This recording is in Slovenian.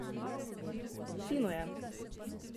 Fino je!